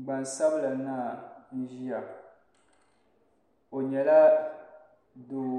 Gban sabila naa n ziya o yɛla doo